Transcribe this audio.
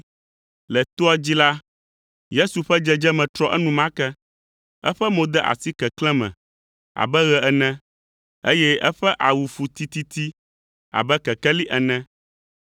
Le toa dzi la, Yesu ƒe dzedzeme trɔ enumake. Eƒe mo de asi keklẽ me abe ɣe ene, eye eƒe awu fu tititi abe kekeli ene.